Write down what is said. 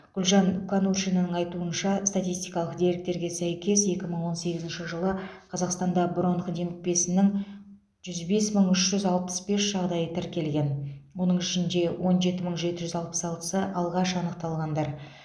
гүлжан конуршинаның айтуынша статистикалық деректерге сәйкес екі мың он сегізінші жылы қазақстанда бронх демікпесінің жүз бес мың үш жүз алпыс бес жағдайы тіркелген оның ішінде он жеті мың жеті жүз алпыс алтысы алғаш анықталғандар